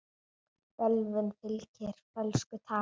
Bölvun fylgir fölsku tali.